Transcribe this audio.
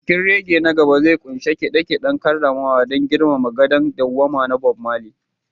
Bikin reggae na gaba zai ƙunshi kide-kiden karramawa don girmama gadon dawwama na Bob Marley